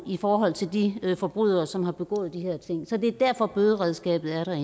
i forhold til de forbrydere som har begået de her ting så det er derfor bøderedskabet er